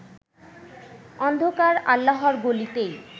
অন্ধকার আল্লাহর গলিতেই